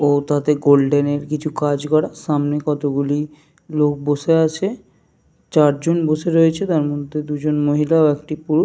ও তাতে গোল্ডেন এর কিছু কাজ করা। সামনে কতোগুলি লোক বসে আছে। চারজন বসে রয়েছে তার মধ্যে দুজন মহিলা ও একটি পুরু--